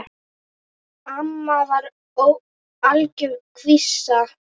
Amma var algjör skvísa.